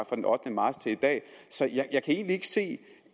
fra den ottende marts til i dag så jeg kan egentlig ikke se